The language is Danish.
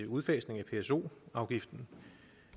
udfasning af pso afgiften